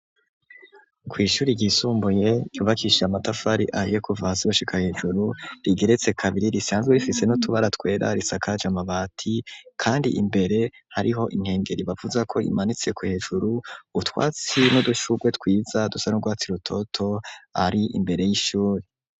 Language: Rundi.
Ku ishuri ry'isumbuye ryubakishije amatafari ahiye kuva hasi gushika hejuru rigeretse kabiri risanzwe rifise n'utubaratwera risakaje amabati kandi imbere hariho inkengeri bavuzako imanitseko hejuru utwatsi n'udushurwe twiza dusa n'u rwatsi rutoto ari imbere y'ishuri.